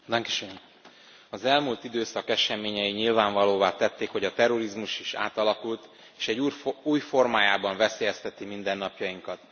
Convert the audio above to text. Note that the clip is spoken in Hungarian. Elnök Asszony! Az elmúlt időszak eseményei nyilvánvalóvá tették, hogy a terrorizmus is átalakult és egy új formájában veszélyezteti mindennapjainkat.